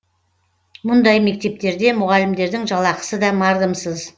мұндай мектептерде мұғалімдердің жалақысы да мардымсыз